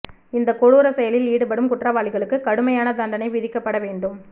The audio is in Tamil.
இந்த கொடூர செயலில் ஈடுபடும் குற்றவாளிகளுக்கு கடுமையான தண்டனை விதிக்கப்பட வேண்டும்